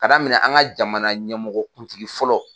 Ka daminɛ an ka jamana ɲɛmɔgɔ kuntigi fɔlɔ.